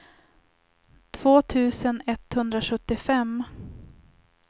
två tusen etthundrasjuttiofem